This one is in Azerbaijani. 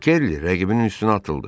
Kerli rəqibinin üstünə atıldı.